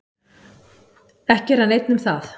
Ekki er hann einn um það.